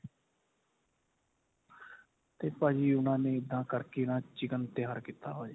ਤੇ ਭਾਜੀ ਉਹਨਾ ਨੇ ਇੱਦਾਂ ਕਰਕੇ ਨਾ chicken ਤਿਆਰ ਕੀਤਾ ਹੋਇਆ ਜੀ.